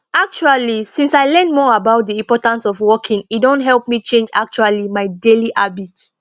actually since i learn more about the importance of walking e don help me change actually my daily habits